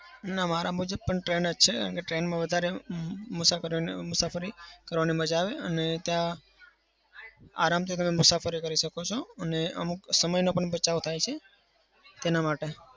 ના. મારા મુજબ પણ train જ છે. કેમ કે train માં વધારે મુસાફરી મુસાફરી કરવાની મજા આવે અને ત્યાં આરામથી તમે મુસાફરી કરી શકો છો. અને અમુક સમયનો પણ બચાવ થાય છે તેના માટે.